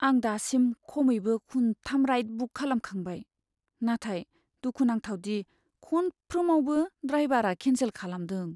आं दासिम खमैबो खुनथाम राइड बुक खालामखांबाय, नाथाय दुखुनांथाव दि खनफ्रोमावबो ड्राइबारा केन्सेल खालामदों।